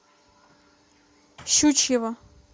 щучьего